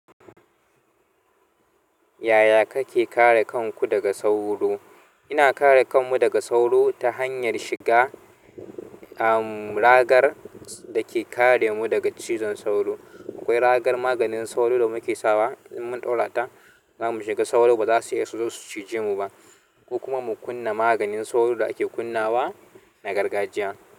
Yaya kake kare kanku daga sauro? Ina kare kanmu daga sauro ta hanyar shiga, am, ragar dake kare mu daga cizon sauro. Akwai ragar maganin sauro da muke sawa. In mun ɗaura ta, za mu shiga sauro ba za su iya su zo su cije mu ba, ko kuma mu kunna maganin sauro da ake kunnawa na gargajiya.